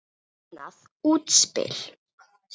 Magnað útspil.